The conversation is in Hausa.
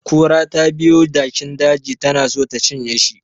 Kura tabiyo jakin daji tana so ta cinye shi